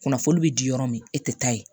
Kunnafoni be di yɔrɔ min e tɛ taa ye